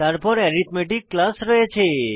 তারপর arithmetic class রয়েছে